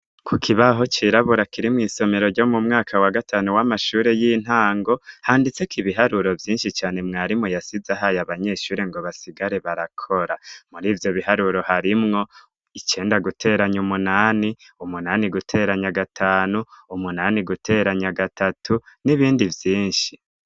ku kibaho cirabura kirimu isomero ryo mumwaka wa gatanu w'amashure y'intango handitseko ibiharuro vyinshi cane mwarimu yasize ahaye abanyeshuri ngo basigare barakora muri ivyo biharuro harimwo igenda guteranya umunani umunani gutera nya gatanu umunani guteranya gatatu n'ibindi vyinshi